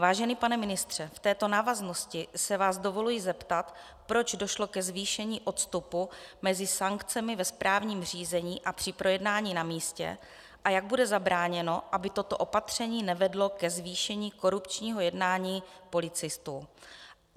Vážený pane ministře, v této návaznosti se vás dovoluji zeptat, proč došlo ke zvýšení odstupu mezi sankcemi ve správním řízení a při projednání na místě a jak bude zabráněno, aby toto opatření nevedlo ke zvýšení korupčního jednání policistů.